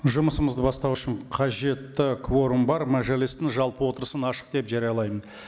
жұмысымызды бастау үшін қажетті кворум бар мәжілістің жалпы отырысын ашық деп жариялаймын